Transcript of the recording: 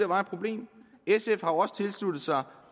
var et problem sf har jo også tilsluttet sig